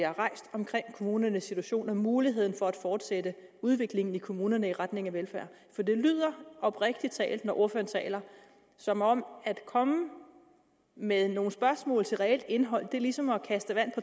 omkring kommunernes situation og muligheden for at fortsætte udviklingen i kommunerne i retning af velfærd for det lyder oprigtig talt når ordføreren taler som om at komme med nogle spørgsmål til et reelt indhold er ligesom at kaste vand